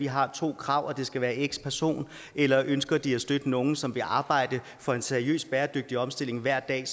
har to krav og det skal være x person eller ønsker de at støtte nogle som vil arbejde for en seriøs bæredygtig omstilling hver dag